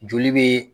Joli bɛ